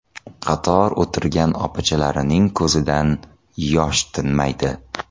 Qator o‘tirgan opachalarining ko‘zidan yosh tinmaydi.